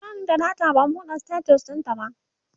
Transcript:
bani da data ban buɗe status ɗintaba